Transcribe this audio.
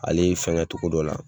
Ale y'i fɛngɛ cogo dɔ la,